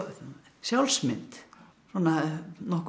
sjálfsmynd svona nokkuð